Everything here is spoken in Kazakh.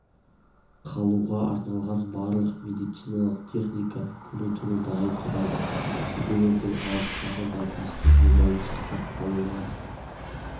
қалуға арналған барлық медициналық техника күні-түні дайын тұрады себебі бұл алыстағы науқастың өмірін сақтап қалуға